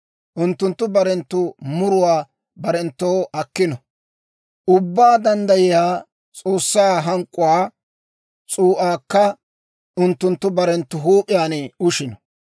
Unttunttu barenttu muruwaa barenttoo akkino. Ubbaa Danddayiyaa S'oossaa hank'k'uwaa s'uu'aakka unttunttu barenttu huup'iyaan ushino.